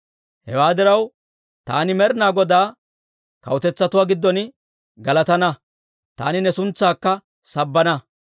Hewaa diraw, taani Med'inaa Godaa kawutetsatuwaa giddon galatana; taani ne suntsaakka sabbana.